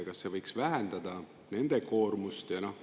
Kas see võiks vähendada nende koormust?